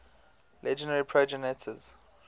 legendary progenitors